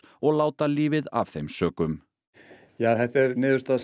og láta lífið af þeim sökum þetta er niðurstaða